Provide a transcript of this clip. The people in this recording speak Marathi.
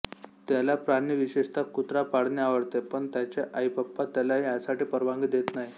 त्याला प्राणी विशेषतः कुत्रा पाळणे आवडते पण त्याचे आईपप्पा त्याला यासाठी परवानगी देत नाहीत